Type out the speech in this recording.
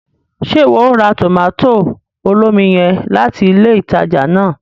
Ṣe iwọ o ra tomato olómi yen latí ilé ìtàjà náà?